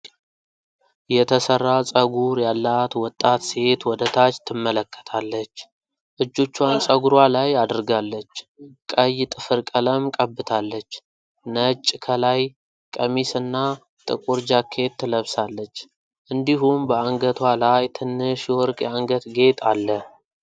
የተሠራ ፀጉር ያላት ወጣት ሴት ወደ ታች ትመለከታለች። እጆቿን ፀጉሯ ላይ አድርጋለች፤ ቀይ ጥፍር ቀለም ቀብታለች። ነጭ ከላይ ቀሚስ እና ጥቁር ጃኬት ለብሳለች፣ እንዲሁም በአንገቷ ላይ ትንሽ የወርቅ የአንገት ጌጥ አለ።